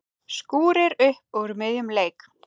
Skúrir upp úr miðjum leik.